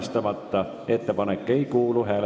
Istungi lõpp kell 16.04.